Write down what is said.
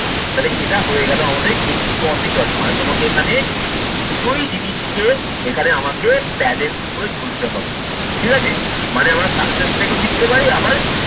তালে সেতা হয়ে গেল আমাদের ex probatory মানে তোমাকে এখানে দুটোই জিনিসকে এখানে আমাকে balance করে চলতে হবে ঠিকাছে। মানে আমরা success থকেও শিখতে পারি আবার